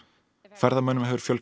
ferðamönnum hefur fjölgað